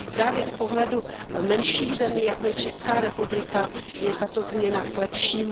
Právě z pohledu menších zemí, jako je Česká republika, je tato změna k lepšímu.